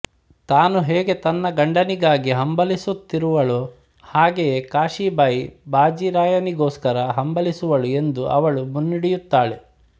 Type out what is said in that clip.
ತಾನು ಹೇಗೆ ತನ್ನ ಗಂಡನಿಗಾಗಿ ಹಂಬಲಿಸುತ್ತಿರುವಳೊ ಹಾಗೆಯೇ ಕಾಶೀಬಾಯಿ ಬಾಜೀರಾಯನಿಗೋಸ್ಕರ ಹಂಬಲಿಸುವಳು ಎಂದು ಅವಳು ಮುನ್ನುಡಿಯುತ್ತಾಳೆ